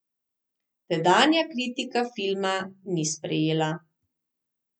Tedanja kritika filma ni sprejela.